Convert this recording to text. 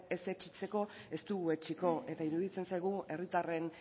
ez etsitzeko ez dugu etsiko eta iruditzen zaigu herritarren